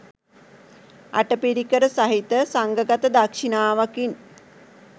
අටපිරිකර සහිත සංඝගත දක්‍ෂිණාවකින්